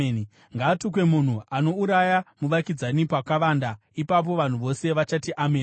“Ngaatukwe munhu anouraya muvakidzani pakavanda.” Ipapo vanhu vose vachati, “Ameni!”